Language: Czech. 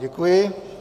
Děkuji.